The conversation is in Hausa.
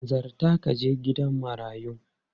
Hanzarta ka je gidan marayun!